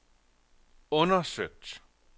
undersøgt